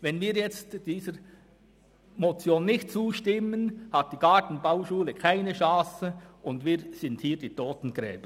Stimmen wir jetzt dieser Motion nicht zu, hat die Gartenbauschule keine Chance, und wir sind ihre Totengräber.